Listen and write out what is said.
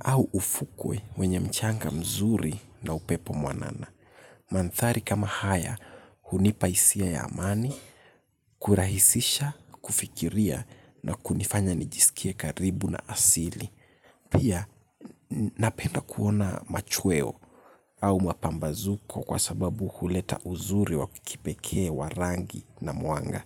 au ufukwe wenye mchanga mzuri na upepo mwanana. Manthari kama haya hunipa hisia ya amani, kurahisisha, kufikiria na kunifanya nijisikie karibu na asili. Pia napenda kuona machweo au mapambazuko kwa sababu huleta uzuri wa kipekee wa rangi na mwanga.